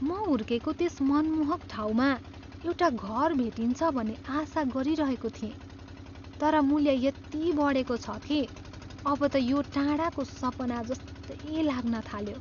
म हुर्केको त्यस मनमोहक ठाउँमा एउटा घर भेटिन्छ भन्ने आशा गरिरहेको थिएँ, तर मूल्य यति बढेको छ कि अब त यो टाढाको सपना जस्तै लाग्न थाल्यो।